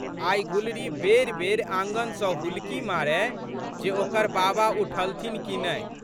आइ गुलरी बेरिबेरि आँगन सँ हुलकी मारय जे ओकर बाबा उठलथिन कि नहि।